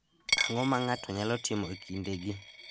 Ang’o ma ng’ato nyalo timo e kindegi?